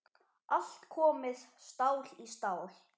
Allt komið stál í stál.